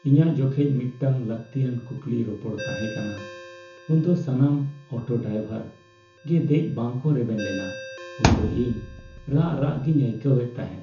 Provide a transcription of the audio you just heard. ᱤᱧᱟᱹᱜ ᱡᱚᱠᱷᱮᱡ ᱢᱤᱫᱴᱟᱝ ᱞᱟᱹᱠᱛᱤᱭᱟᱱ ᱠᱩᱠᱞᱤ ᱨᱚᱯᱚᱲ ᱛᱟᱦᱮᱸ ᱠᱟᱱᱟ ᱩᱱ ᱫᱚ ᱥᱟᱱᱟᱢ ᱚᱴᱚ ᱰᱨᱟᱭᱵᱷᱟᱨ ᱜᱮ ᱫᱮᱡ ᱵᱟᱠᱚ ᱨᱮᱵᱮᱱ ᱞᱮᱱᱟ ᱩᱱ ᱫᱚ ᱤᱧ ᱨᱟᱜ ᱨᱟᱜ ᱜᱤᱧ ᱟᱹᱭᱠᱟᱹᱣᱮᱫ ᱛᱟᱦᱮᱸ ᱾